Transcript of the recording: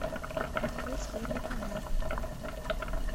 открыть первый канал